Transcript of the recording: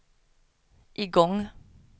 igång